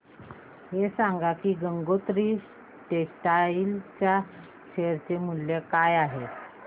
हे सांगा की गंगोत्री टेक्स्टाइल च्या शेअर चे मूल्य काय आहे